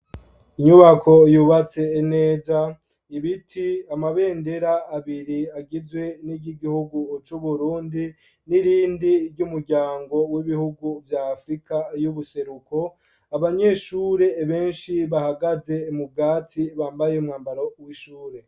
Inyubako yubatse neza ,ibiti, amabendera abiri agizwe n'iry'igihugu c'Uburundi , n'irindi ry'umuryango w'ibihugu vya afurika y'ubuseruko, abanyeshure benshi bahagaze mu bwatsi bambaye umwambaro w'ishure.